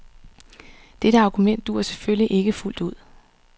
Dette argument duer selvfølgelig ikke fuldt ud.